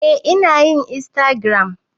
Eh inayin insagiram